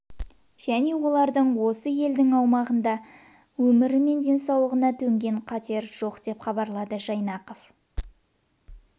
және олар осы елдің аумағында олардың өмір мен денсаулығына төнген қатер жоқ деп хабарлады жайнақов